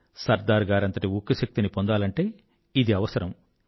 సర్దార్ గారంతటి ఉక్కు శక్తిని పొందాలంటే ఇది అవసరం